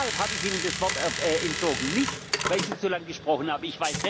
sind. Deshalb habe ich Ihnen das Wort entzogen, nicht weil Sie zu lange gesprochen